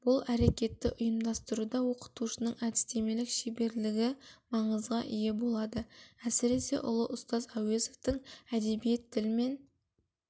бұл әрекетті ұйымдастыруда оқытушының әдістемелік шеберлігі маңызға ие болады әсіресе ұлы ұстаз әуезовтің әдебиет тіл мен